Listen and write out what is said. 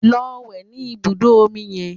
Lọ wẹ̀ ní ibùdó omi yẹn!